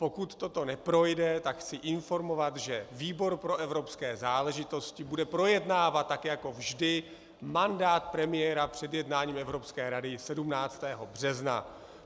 Pokud toto neprojde, tak chci informovat, že výbor pro evropské záležitosti bude projednávat, tak jako vždy, mandát premiéra před jednáním Evropské rady 17. března.